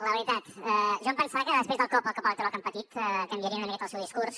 la veritat jo em pensava que després del cop el cop electoral que han patit canviarien una miqueta el seu discurs